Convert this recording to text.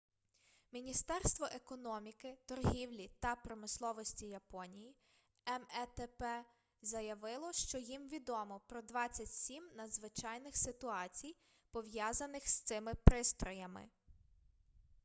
міністерство економіки торгівлі та промисловості японії метп заявило що їм відомо про 27 надзвичайних ситуацій пов'язаних з цими пристроями